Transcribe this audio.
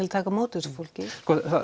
að taka á móti þessu fólki